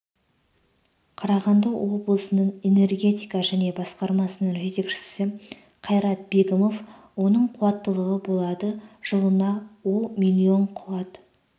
қарағанды олблысының энергетика және басқармасының жетекшісі қайрат бегімов оның қуаттылығы болады жылына ол миллион қуат